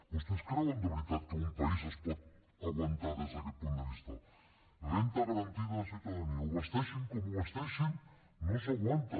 vostès creuen de veritat que un país es pot aguantar des d’aquest punt de vista renda garantida de ciutadania ho vesteixin com ho vesteixin no s’aguanta